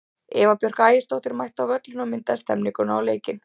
Eva Björk Ægisdóttir mætti á völlinn og myndaði stemmninguna og leikinn.